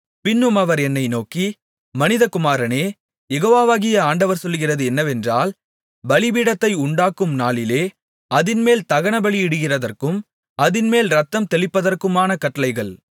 பின்னும் அவர் என்னை நோக்கி மனிதகுமாரனே யெகோவாகிய ஆண்டவர் சொல்லுகிறது என்னவென்றால் பலிபீடத்தை உண்டாக்கும் நாளிலே அதின்மேல் தகனபலியிடுகிறதற்கும் அதின்மேல் இரத்தம் தெளிப்பதற்குமான கட்டளைகள்